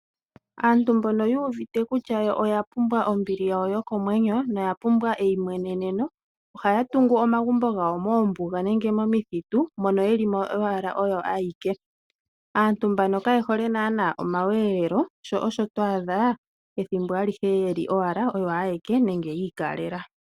Aantu mbono yu uvite kutya yo oya pumbwa ombili yawo yokomwenyo noya pumbwa eimweneneno, ohaya tungu omagumbo gawo moombuga nenge momithitu, mono yeli mo owala oyo ayeke. Aantu mbano kaye hole naanaa omakudhilo, sho osho twa adha ethimbo alihe yeli owala oyo ayeke nenge yi ikalela.